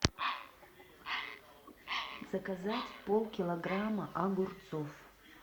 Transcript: заказать полкилограмма огурцов